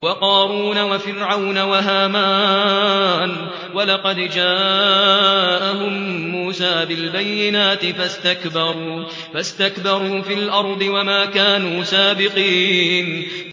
وَقَارُونَ وَفِرْعَوْنَ وَهَامَانَ ۖ وَلَقَدْ جَاءَهُم مُّوسَىٰ بِالْبَيِّنَاتِ فَاسْتَكْبَرُوا فِي الْأَرْضِ وَمَا كَانُوا سَابِقِينَ